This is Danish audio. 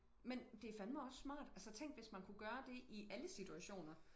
Men det fandme også smart altså tænk hvis man kunne gøre det i alle situationer